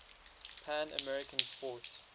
pan american sports